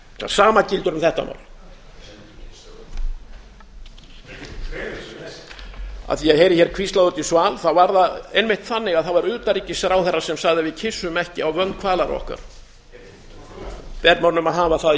sama gildir um þetta mál af því að ég heyrði hér hvíslað úti í sal var það einmitt þannig að það var utanríkisráðherra sem sagði að við kyssum ekki á vönd kvalara okkar ber mönnum að hafa það í